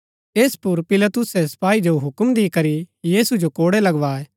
ऐस पुर पिलातुसै सपाई जो हुक्म दिकरी यीशु जो कोड़ै लगवाए